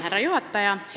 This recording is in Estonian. Härra juhataja!